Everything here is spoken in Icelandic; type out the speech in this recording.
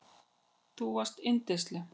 Þú varst ekki yndisleg.